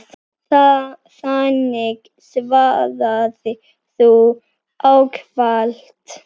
Þannig svaraði þú ávallt.